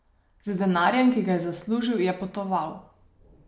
Z denarjem, ki ga je zaslužil, je potoval.